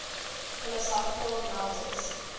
philosophical novels